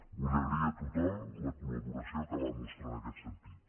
vull agrair a tothom la col·laboració que van mostrar en aquest sentit